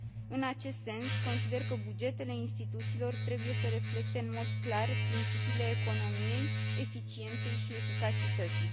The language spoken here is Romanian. În acest sens, consider că bugetele instituțiilor trebuie să reflecte în mod clar principiile economiei, eficienței și eficacității.